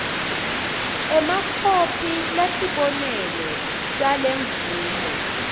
emakhopi latibonelo talemvumo